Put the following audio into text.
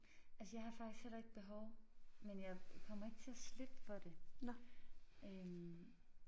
Altså jeg har faktisk heller ikke behov men jeg kommer ikke til at slippe for det øh